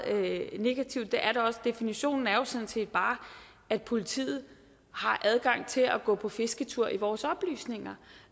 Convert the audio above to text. negativt er det også definitionen er sådan set bare at politiet har adgang til at gå på fisketur i vores oplysninger